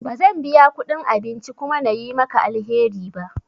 Ba zan biya kudin abinci kuma na yi maka alheri ba.